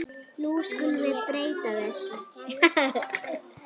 Nú skulum við breyta þessu.